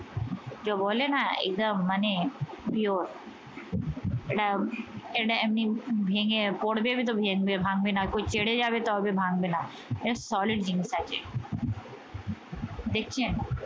জো বলে না একদম মানে pure এটা এটা এমনি ভেঙে পড়বে ভাঙবে না ছেটে যাবে তবে ভাঙবে না এটা solid জিনিস আছে দেখছেন